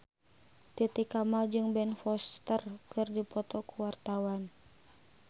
Titi Kamal jeung Ben Foster keur dipoto ku wartawan